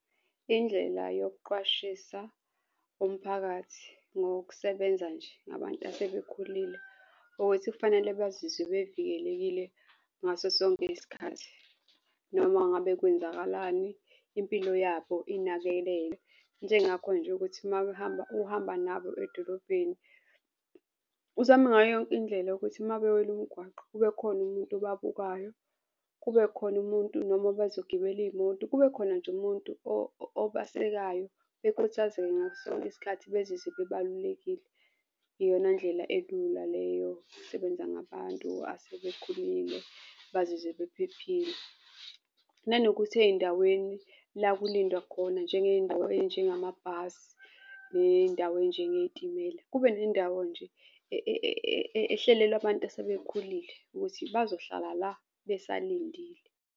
Indlela yokuqwashisa umphakathi ngokusebenza nje ngabantu asebekhulile ukuthi kufanele bazizwe bevikelekile ngaso sonke isikhathi. Noma ngabe kwenzakalani impilo yabo inakeleke njengakho nje ukuthi uma behamba uhamba nabo edolobheni, uzame ngayo yonke indlela ukuthi uma bewela umgwaqo kube khona umuntu ababukayo, kube khona umuntu noma bazogibela iy'moto, kube khona nje umuntu obasekayo bekhuthazeke ngaso sonke isikhathi bezizwe bebalulekile. Iyona ndlela elula leyo, yokusebenza ngabantu asebekhulile bazizwe baphephile. Nanokuthi ey'ndaweni la kulindwa khona njengey'ndawo ey'njengamabhasi ney'ndawo enjengey'timela, kube nendawo nje ehlelelwa abantu asebekhulile ukuthi bazohlala la besalindile.